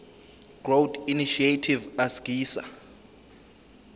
growth initiative asgisa